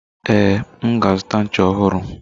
Ee, m ga azuta ncha ọhụrụ.